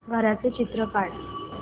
घराचं चित्र काढ